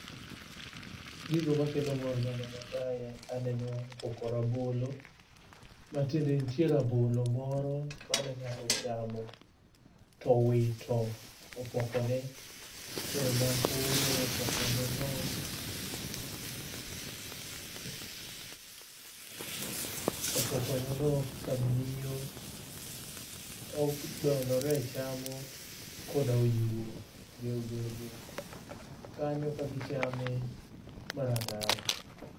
Gigo makelo mor maneno kae aneno opoko rabolo matiende ni nitie rabolo moro mane ng'ato ochamo to owito opokone to ema koro opokoneno kamnio odolore chamo koda oyuo be obedo kanyo kagichame mar atari.